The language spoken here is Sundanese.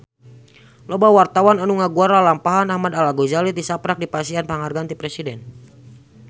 Loba wartawan anu ngaguar lalampahan Ahmad Al-Ghazali tisaprak dipasihan panghargaan ti Presiden